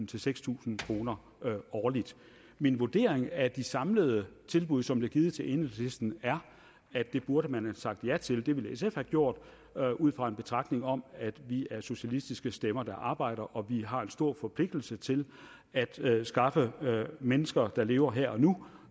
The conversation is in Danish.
til seks tusind kroner årligt min vurdering af de samlede tilbud som blev givet til enhedslisten er at det burde man have sagt ja til det ville sf have gjort ud fra en betragtning om at vi er socialistiske stemmer der arbejder og vi har en stor forpligtelse til at skaffe mennesker der lever her